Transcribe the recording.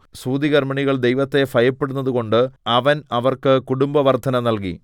സൂതികർമ്മിണികൾ ദൈവത്തെ ഭയപ്പെടുന്നത് കൊണ്ട് അവൻ അവർക്ക് കുടുംബവർദ്ധന നല്കി